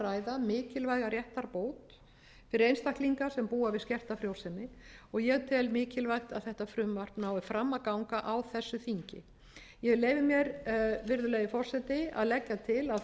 að ræða mikilvæga réttarbót fyrir einstaklinga sem búa við skertafrjósemi og ég tel mikilvægt að þetta frumvarp nái fram að ganga á þessu þingi ég leyfi mér virðulegi forseti að leggja til að